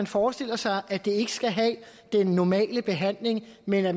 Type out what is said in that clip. forestiller sig at det ikke skal have den normale behandling men at